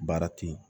Baara ten